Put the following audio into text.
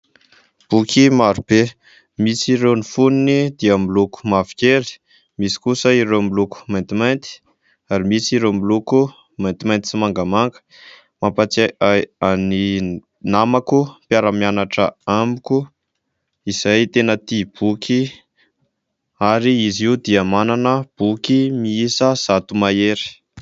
Boky marobe misy irony fonony dia miloko mavokely, misy kosa ireo miloko maintimainty ary misy ireo miloko maintimainty sy mangamanga. Mampatsiahy ahy ny namako, mpiara-mianatra amiko izay tena tia boky; ary izy io dia manana boky miisa zato mahery.